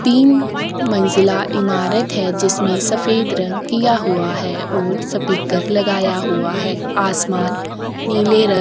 तीन मंजिला इमारत है। जिसमें सफेद रंग किया हुआ है और सपीकर लगाया हुआ है। आसमान नीले रंग --